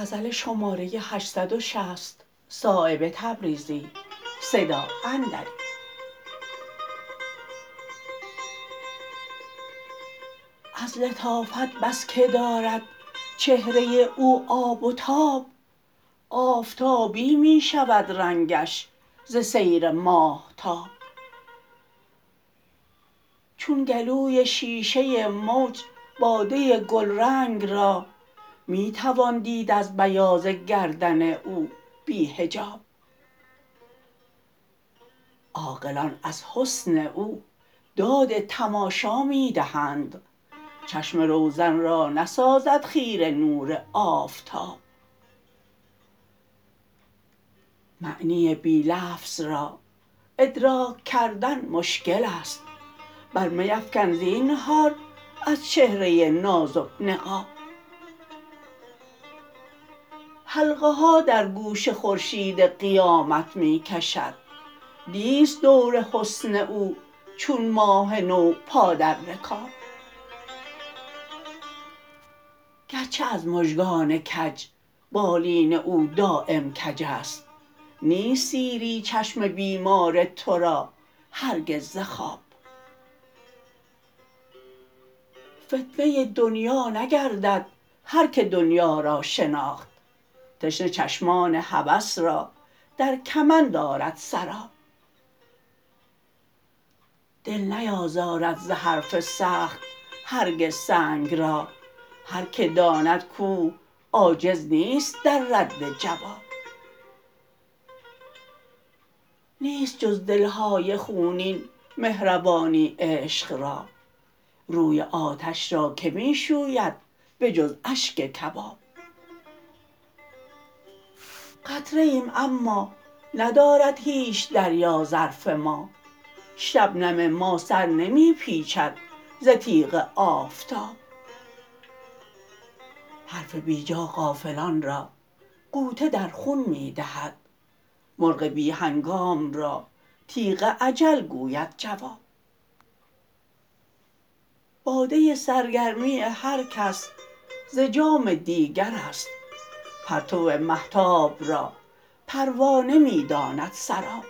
از لطافت بس که دارد چهره او آب و تاب آفتابی می شود رنگش ز سیر ماهتاب چون گلوی شیشه موج باده گلرنگ را می توان دید از بیاض گردن او بی حجاب عاقلان از حسن او داد تماشا می دهند چشم روزن را نسازد خیره نور آفتاب معنی بی لفظ را ادراک کردن مشکل است بر میفکن زینهار از چهره نازک نقاب حلقه ها در گوش خورشید قیامت می کشد نیست دور حسن او چون ماه نو پا در رکاب گرچه از مژگان کج بالین او دایم کج است نیست سیری چشم بیمار ترا هرگز ز خواب فتنه دنیا نگردد هر که دنیا را شناخت تشنه چشمان هوس را در کمند آرد سراب دل نیازارد زحرف سخت هرگز سنگ را هر که داند کوه عاجز نیست در رد جواب نیست جز دلهای خونین مهربانی عشق را روی آتش را که می شوید به جز اشک کباب قطره ایم اما ندارد هیچ دریا ظرف ما شبنم ما سر نمی پیچد ز تیغ آفتاب حرف بیجا غافلان را غوطه در خون می دهد مرغ بی هنگام را تیغ اجل گوید جواب باده سرگرمی هر کس ز جام دیگرست پرتو مهتاب را پروانه می داند سراب